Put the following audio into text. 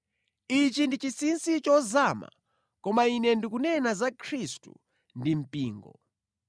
Ichi ndi chinsinsi chozama, koma ine ndikunena za Khristu ndi mpingo.